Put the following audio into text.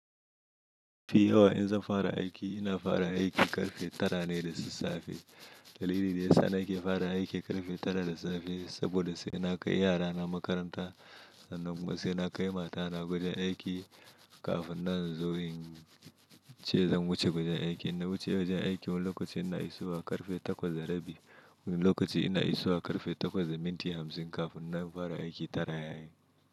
Mafi yawa in za fara aiki, ina fara aiki ƙarfe tara ne da sassafe. Dalili da yasa nake fara aiki ƙarfe tara da safe, saboda sai na kai yara na makaranta sannan kuma sai na kai mata na gurin aiki, kafin nan in zo in ce zan wuce gurin aiki. In na wuce wajen aiki wani lokacin ina iso wa ƙarfe takwas da rabi. Wani lokaci ina iso wa ƙarfe takwas da minti hamsin kafin na fara aiki tara yayi.